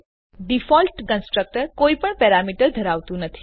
default constructor કોઈપણ parameter ધરાવતું નથી